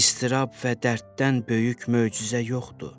İstirab və dərddən böyük möcüzə yoxdur.